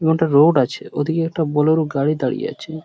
এবং একটা রোড আছে ঐদিকে একটা বোলেরো গাড়ি দাঁড়িয়ে আছে ।